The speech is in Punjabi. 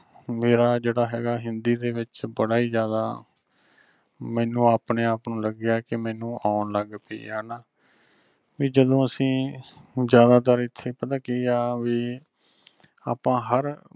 ਮੇਰਾ ਜਿਹੜਾ ਹਗਾ ਹਿੰਦੀ ਦੇ ਵਿਚ ਬੜਾ ਹੀ ਜ਼ਿਆਦਾ ਮੈਨੂੰ ਆਪਣੇ ਆਪ ਨੂੰ ਲੱਗਿਆ ਕਿ ਮਨੁ ਓਣ ਲੱਗ ਪੀ ਆ ਨਾਂ ਜਿਮੇ ਅਸੀਂ ਜ਼ਿਆਦਾਤਰ ਐਥੇ ਪਤਾ ਕਿ ਆ ਵੀ ਆਪਾਂ ਹਰ